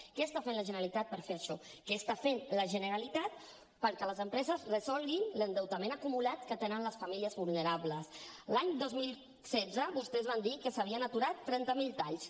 què està fent la generalitat per fer això què està fent la generalitat perquè les empreses resolguin l’endeutament acumulat que tenen les famílies vulnerables l’any dos mil setze vostès van dir que s’havien aturat trenta mil talls